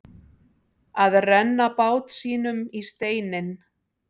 Að renna bát sínum í steininn